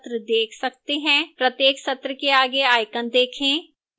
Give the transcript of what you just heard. प्रत्येक सत्र के आगे icons देखें